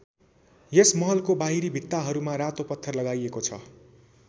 यस महलको बाहिरी भित्ताहरूमा रातो पत्थर लगाईएको छ।